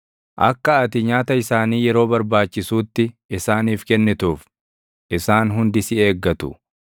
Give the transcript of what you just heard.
Akka ati nyaata isaanii yeroo barbaachisuutti isaaniif kennituuf, isaan hundi si eeggatu.